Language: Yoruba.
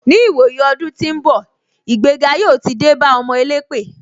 Ni ìwòyí ọdún tí ń bọ̀, ìgbéga yóò ti dé bá ọmọ elépè.